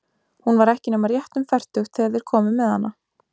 Hún var ekki nema rétt um fertugt þegar þeir komu með hana.